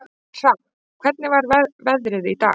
Hrafn, hvernig er veðrið í dag?